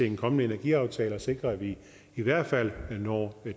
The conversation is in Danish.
en kommende energiaftale og sikre at vi i hvert fald når